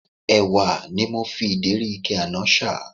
Ẹ̀wà ni mo fi ìdérí ike ọ̀dà àná ṣà